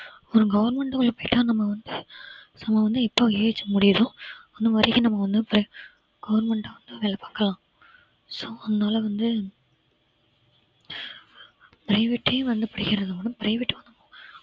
ஒரு government எப்படித்தான் நம்ம வந்து நம்ம வந்து இப்போ age முடியுதோ அது வரைக்கும் நம்ம ஒண்ணும்பேச~ government வேலை பார்க்கலாம் so அதனாலே வந்து private ஏ வந்து வேணும் private